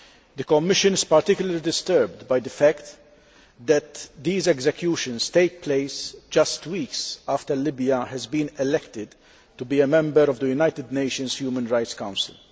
The Commission is particularly disturbed by the fact that these executions have taken place just weeks after Libya was elected to be a member of the United Nations Human Rights Council.